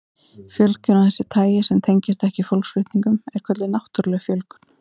Fjölgun af þessu tagi sem tengist ekki fólksflutningum er kölluð náttúruleg fjölgun.